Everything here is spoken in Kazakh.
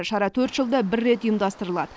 шара жылда рет ұйымдастырылады